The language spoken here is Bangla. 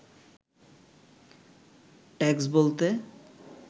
ট্যাক্স বলতে